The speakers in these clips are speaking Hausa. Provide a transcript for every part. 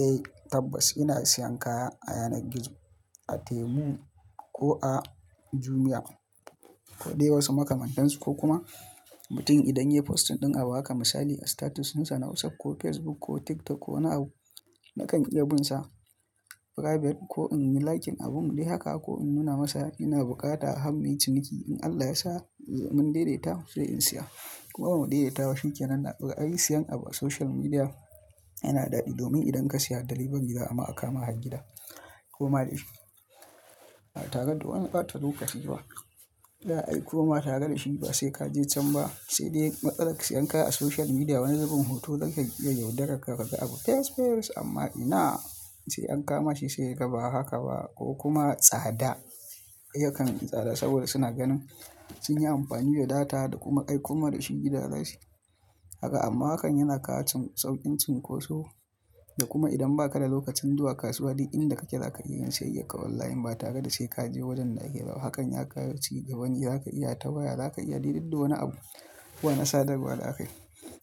Eh tabbas ina siyan kaya a yanar gizo a Temu ko a Jumia ko dai wasu makamantansu ko kuma mutum idan ya yi postin ɗin abu haka misali a status ɗinsa na WhatsApp ko Facebook ko TikTok ko wani abu na kan iya binsa private ko in yi liken abum dai haka ko in nuna masa ina bukata har muyi ciniki in Allah ya sa mun daidaita sai in siya kuma bamu daidaita ba shikenan, ai siyan abu a social media yana daɗi domin idan ka saya delivery za'ama akama har gida ko ma ba tare da wani bata lokaci ba za'a ai ko ma tare da shi ba sai ka je can ba sai dai matsalar siyan kaya a social media wani zubin hoto zata iya yaudarark ka ga abu fes fes amma ina sai an kama shi sai ga ba haka ba ko kuma tsada yakan yi tsada saboda suna ganin sun yi amfani da data da kuma ai kuma da shi gida zasuyi. Kaga amma hakan yana kawo sauƙin cinkoso da kuma idan ba ka da lokacin zuwa kasuwa duk inda kake za ka iya yin siyayyak ka online ba tare da sai ka je wajen da ake ba, hakan ya kawo cigabane za ka iya ta waya za ka iya de dig da wani abu ko a na sadarwa da aka yi.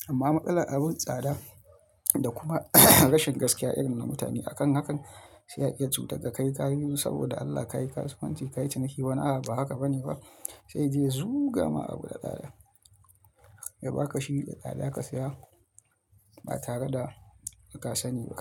Amma matsalar abun tsada da kuma rashin gaskiya irin na mutane a kan hakan sai a iya cutakka kai kayi saboda Allah ka yi kasuwanci ka yi ciniki wani abu haka ba ne ba, sai yaje yazu ga ma abu da tsada ya ba ka shi da tsada ka saya ba tare da ka sani ba.